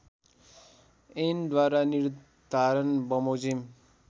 ऐनद्वारा निर्धारण बमोजिम